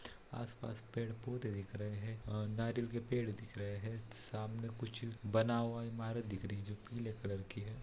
आस-पास पेड़-पौधे दिख रहे है और नारियल के पेड़ दिख रहे है सामने कुछ बना हुआ इमारत दिख रही है जो पीले कलर की है।